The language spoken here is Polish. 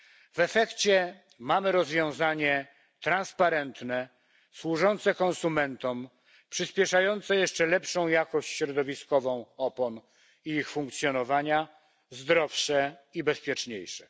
W efekcie mamy rozwiązanie transparentne, służące konsumentom, przyspieszające jeszcze lepszą jakość środowiskową opon i ich funkcjonowania, zdrowsze i bezpieczniejsze.